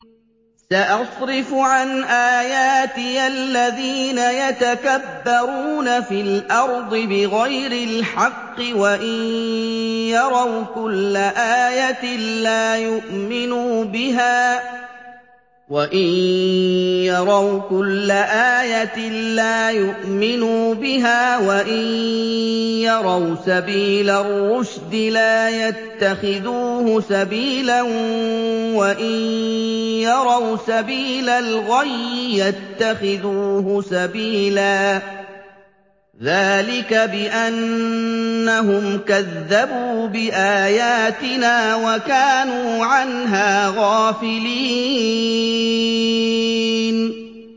سَأَصْرِفُ عَنْ آيَاتِيَ الَّذِينَ يَتَكَبَّرُونَ فِي الْأَرْضِ بِغَيْرِ الْحَقِّ وَإِن يَرَوْا كُلَّ آيَةٍ لَّا يُؤْمِنُوا بِهَا وَإِن يَرَوْا سَبِيلَ الرُّشْدِ لَا يَتَّخِذُوهُ سَبِيلًا وَإِن يَرَوْا سَبِيلَ الْغَيِّ يَتَّخِذُوهُ سَبِيلًا ۚ ذَٰلِكَ بِأَنَّهُمْ كَذَّبُوا بِآيَاتِنَا وَكَانُوا عَنْهَا غَافِلِينَ